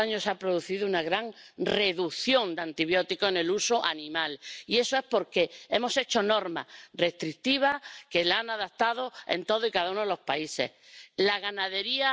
zu unterstützen, dass wir dagegen vorgehen und das Richtige und Notwendige an dieser Stelle tun, und dazu gehört ganz sicher auch, dass wir gerade bei der Viehzucht einige Korrekturen anmahnen.